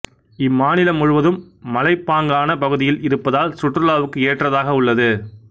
இம்மாநிலம் முழுவதும் மலைப்பாங்கான பகுதியில் இருப்பதால் சுற்றுலாவுக்கு ஏற்றதாக உள்ளது